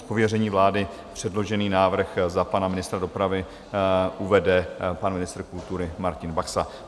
Z pověření vlády předložený návrh za pana ministra dopravy uvede pan ministr kultury Martin Baxa.